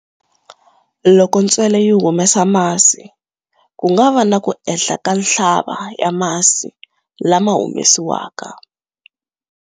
Loko ntsele yi humesa masi, ku nga va na ku ehla ka nhlaba ya masi lawa humesiwaka.